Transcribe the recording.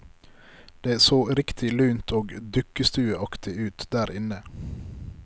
Det så riktig lunt og dukkestueaktig ut derinne.